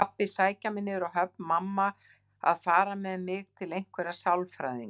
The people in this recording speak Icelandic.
Pabbi að sækja mig niður á höfn, mamma að fara með mig til einhverra sálfræðinga.